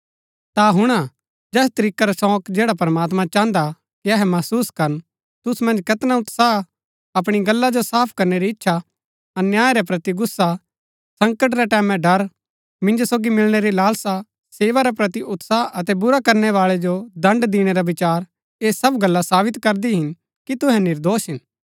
ता हुणा जैस तरीकै रा शोक जैड़ा प्रमात्मां चाहन्दा कि अहै महसुस करन तुसु मन्ज कैतना उत्साह अपणी गल्ला जो साफ करनै री इच्छा अन्याय रै प्रति गुस्सा संकट रै टैमैं ड़र मिन्जो सोगी मिलणै री लालसा सेवा रै प्रति उत्साह अतै बुरा करनै बाळै जो दण्ड दिणै रा विचार ऐह सब गल्ला साबित करदी हिन कि तुहै निर्दोष हिन